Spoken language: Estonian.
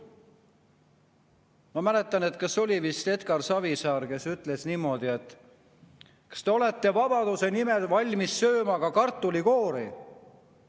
Ma mäletan, et vist Edgar Savisaar küsis niimoodi: kas te olete vabaduse nimel valmis sööma ka kartulikoori?